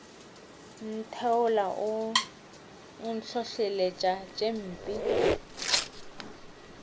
ntheola o ntlholeletša tše mpe